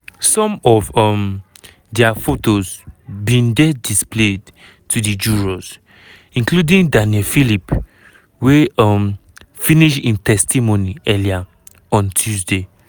some of um dia photos bin dey displayed to di jurors including daniel phillip wey um finish im testimony earlier on tuesday.